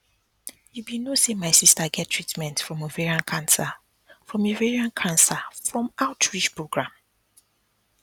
you be no say my sister get treatment from ovarian cancer from ovarian cancer from outreach program